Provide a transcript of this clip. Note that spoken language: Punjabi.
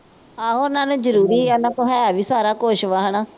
ਆਹੋ ਉਨ੍ਹਾਂ ਨੂੰ ਜ਼ਰੂਰੀ ਹੈਨਾ। ਉਨ੍ਹਾਂ ਕੋਲ ਹੈ ਵੀ ਸਾਰਾ ਕੁਝ ਵਾ ਹੈਨਾ।